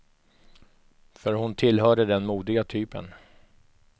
För hon tillhörde den modiga typen.